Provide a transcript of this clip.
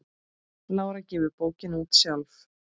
Lára gefur bókina út sjálf.